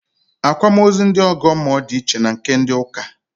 Àkwámaózú ndị ọ̀gọ́mmụọ di iche na nke ndị ụ́kà